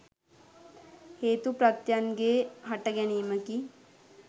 හේතු ප්‍රත්‍යයන්ගේ හටගැනීමකි.